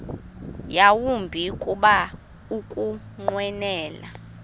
yawumbi kuba ukunqwenela